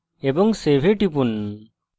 এবং save এ টিপুন